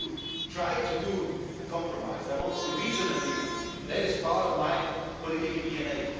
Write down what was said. I want to try to achieve a compromise, I want to reach an agreement that is part of my political